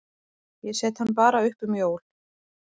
Ég set hann bara upp um jól.